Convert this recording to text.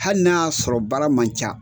Hali n'a y'a sɔrɔ baara man ca,